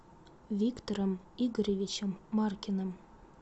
виктором игоревичем маркиным